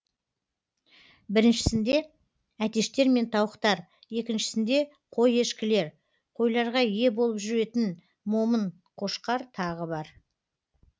біріншісінде әтештер мен тауықтар екіншісінде қой ешкілер қойларға ие болып жүретін момын қошқар тағы бар